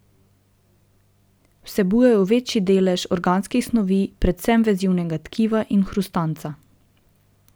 Vsebujejo večji delež organskih snovi, predvsem vezivnega tkiva in hrustanca.